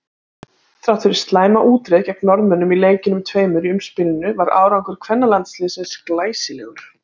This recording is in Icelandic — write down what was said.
Þrátt fyrir slæma útreið gegn Norðmönnum í leikjunum tveimur í umspilinu var árangur kvennalandsliðsins glæsilegur.